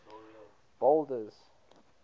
boulders